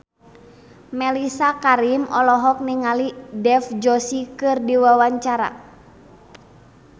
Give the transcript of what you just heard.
Mellisa Karim olohok ningali Dev Joshi keur diwawancara